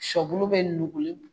Sɔbulu bɛ nugu ye